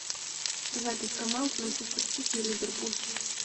запись команд манчестер сити и ливерпуль